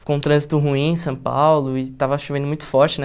Ficou um trânsito ruim em São Paulo e estava chovendo muito forte, né?